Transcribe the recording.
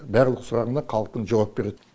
барлық сұрағына халықтың жауап береді